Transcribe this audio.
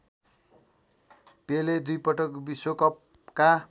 पेले दुईपटक विश्वकपका